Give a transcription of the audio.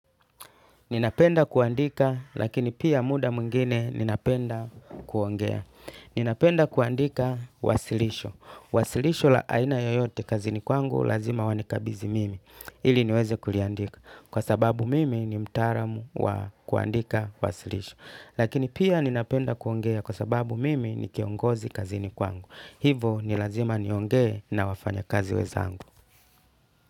Ninapenda kuandika, lakini pia muda mwingine ninapenda kuongea. Ninapenda kuandika wasilisho. Wasilisho la aina yoyote kazini kwangu, lazima wanikabidhi mimi. Ili niweze kuliandika. Kwa sababu mimi ni mtaalamu wa kuandika wasilisho. Lakini pia ninapenda kuongea kwasababu mimi ni kiongozi kazini kwangu. Hivyo ni lazima niongee na wafanyakazi wenzangu.